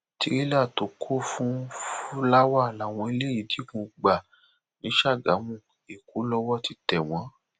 tìrẹlà tó kún fún fúláwá làwọn eléyìí digun gbà ni sàgámù èkó lowó ti tẹ wọn